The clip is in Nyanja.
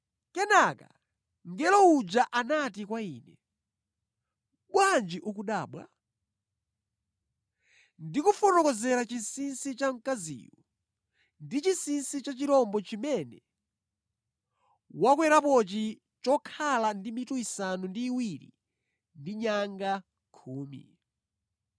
Kenaka mngelo uja anati kwa ine, “Bwanji ukudabwa? Ndikufotokozera chinsinsi cha mkaziyu ndi chinsinsi cha chirombo chimene wakwerapochi chokhala ndi mitu isanu ndi iwiri ndi nyanga khumi.